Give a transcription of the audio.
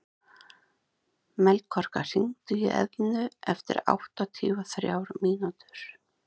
Melkorka, hringdu í Eðnu eftir áttatíu og þrjár mínútur.